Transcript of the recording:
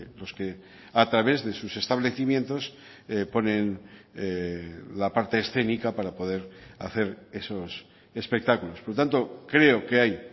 los que a través de sus establecimientos ponen la parte escénica para poder hacer esos espectáculos por lo tanto creo que hay